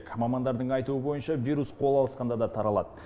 мамандардың айтуы бойынша вирус қол алысқанда да таралады